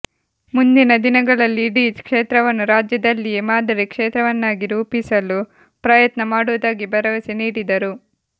ಮುಂದಿನ ದಿನಗಳಲ್ಲಿ ಇಡೀ ಕ್ಷೇತ್ರವನ್ನು ರಾಜ್ಯದಲ್ಲಿಯೇ ಮಾದರಿ ಕ್ಷೇತ್ರವನ್ನಾಗಿ ರೂಪಿಸಲು ಪ್ರಯತ್ನ ಮಾಡುವುದಾಗಿ ಭರವಸೆ ನೀಡಿದರು